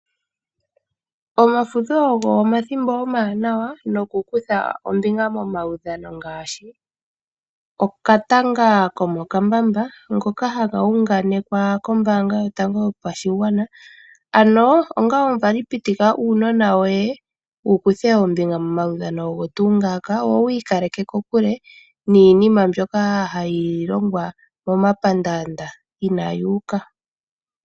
Omafudho ogo omathimbo omawanawa nokukutha ombinga momaudhano ngaashi, okatanga komo kambamba. Ngoka haga unganekwa kombaanga yotango yopashigwana, ano onga omuvali pitika uunona woye wu kuthe ombinga mo maudhano ogo tuu ngaaka wo wi ikaleke kokule niinima mbyoka hayi longwa moma pandaanda inaayi uka.